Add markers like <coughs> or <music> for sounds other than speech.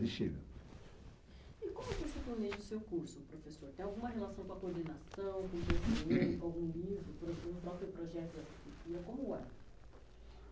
<unintelligible> E como você planeja seu curso professor? Tem alguma relação com a coordenação, com o <unintelligible> <coughs> com algum livro, com o próprio projeto da disciplina? Como é?